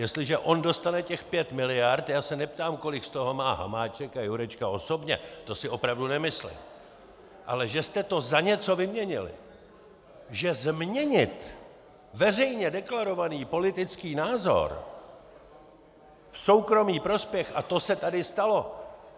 Jestliže on dostane těch pět miliard - já se neptám, kolik z toho má Hamáček a Jurečka osobně, to si opravdu nemyslím, ale že jste to za něco vyměnili, že změnit veřejně deklarovaný politický názor v soukromý prospěch, a to se tady stalo.